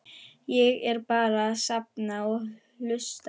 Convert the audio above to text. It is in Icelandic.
Ég er bara að safna og hlusta.